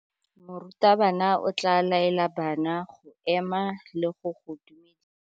Morutabana o tla laela bana go ema le go go dumedisa.